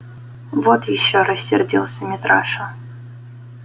вот ещё рассердился митраша